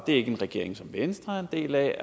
er en regering som venstre er en del af